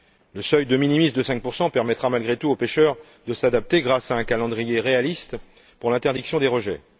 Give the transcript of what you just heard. Le seuil de minimis de 5 permettra malgré tout aux pêcheurs de s'adapter grâce à un calendrier réaliste pour l'interdiction des rejets.